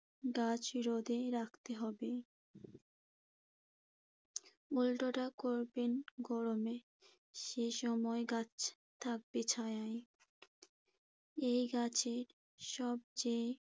গাছ রোদে রাখতে হবে। উল্টোটা করবেন গরমে। সে সময় গাছ থাকবে ছায়ায়। এ গাছে সবচেয়ে